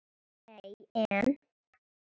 Nei en.